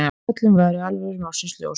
Öllum væri alvara málsins ljós.